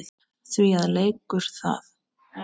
Því að leikur er það.